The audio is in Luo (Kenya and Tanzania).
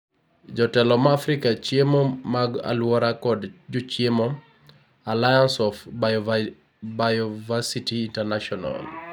jotelo ma afrika , chiemo mag aluora kod jochiemo ;Allianceof Bioversity International